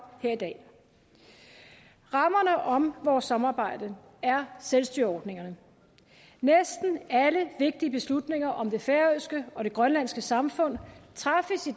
her i dag rammerne om vores samarbejde er selvstyreordningerne næsten alle vigtige beslutninger om det færøske og det grønlandske samfund træffes i